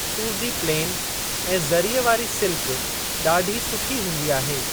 मैसूरु जी प्लेन ऐं ज़रीअ वारी सिल्क डा॒ढी सुठी हूंदी आहे।